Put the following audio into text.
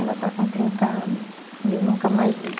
Ela está com trinta anos e eu nunca mais vi.